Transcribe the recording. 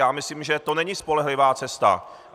Já myslím, že to není spolehlivá cesta.